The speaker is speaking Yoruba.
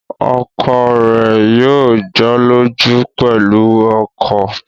Ọkọ rẹ̀ yóò jọ́lọ́jú pẹ̀lú ọkọ̀